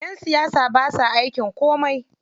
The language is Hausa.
Ƴan siyasa basa aikin komai.